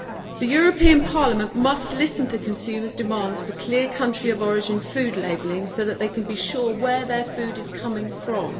The European Parliament must listen to consumers' demands for clear country of origin food labelling so that they can be sure where their food comes from.